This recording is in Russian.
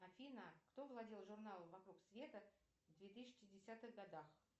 афина кто владел журналом вокруг света в две тысячи десятых годах